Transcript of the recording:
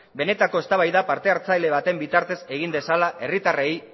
benetako eztabaida partehartzaile baten bitartez egin dezala herritarrei